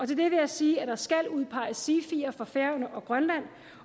det vil jeg sige at der skal udpeges sifier for færøerne og grønland